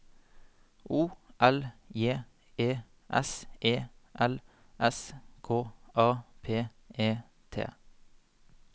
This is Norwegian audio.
O L J E S E L S K A P E T